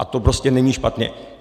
A to prostě není špatně.